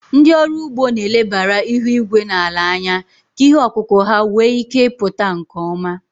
Ndị ọrụ ugbo na-elebara ihu igwe na ala anya ka ihe ọkụkụ ha wee ike pụta nke ọma.